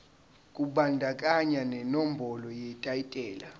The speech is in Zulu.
kubandakanya nenombolo yetayitela